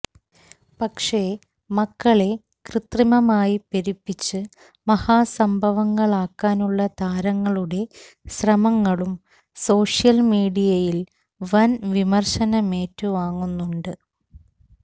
പക്ഷേ മക്കളെ കൃത്രിമമായി പെരുപ്പിച്ച് മഹാസംഭവമക്കാനുള്ള താരങ്ങളുടെ ശ്രമങ്ങളും സോഷ്യൽ മീഡിയയിൽ വൻ വിമർശനമേറ്റുവാങ്ങുന്നുണ്ട്